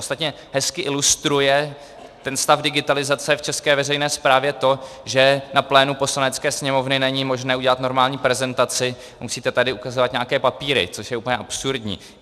Ostatně hezky ilustruje ten stav digitalizace v české veřejné správě to, že na plénu Poslanecké sněmovny není možné udělat normální prezentaci, musíte tady ukazovat nějaké papíry, což je úplně absurdní.